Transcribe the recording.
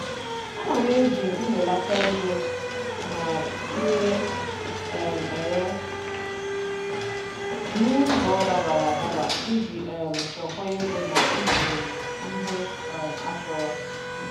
Ana m eji mbelata ego na ire um ere n'ụzọ dabara adaba iji um chekwaa ego na ịzụrụ ihe um achọrọ.